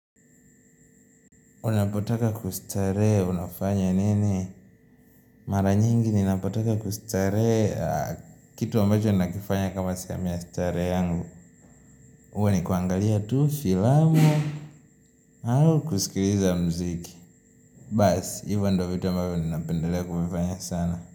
Unapotaka kustarehe unafanya nini? Mara nyingi ninapotaka kustarehe kitu ambacho nakifanya kama sehemu ya starehe yangu. Huwa nikuangalia tu filamu. Au kusikiliza mziki. Basi, hivyo ndiyo vita ambavyo ninapendelea kuvifanya sana.